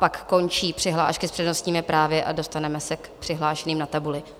Pak končí přihlášky s přednostními právy a dostaneme se k přihlášeným na tabuli.